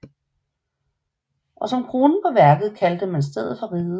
Og som kronen på værket kaldte man stedet for Riget